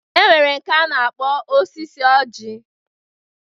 E nwere nke a na-akpọ osisi ọjị.